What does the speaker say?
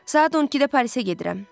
Saat 12-də Parisə gedirəm.